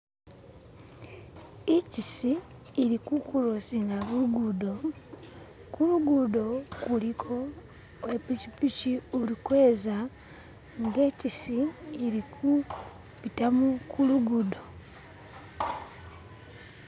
Ichisi ili kukurosinga lugudo kulugudo kuliko wepichipichi ulikweza inga ichisi ili kubitamo kulugudo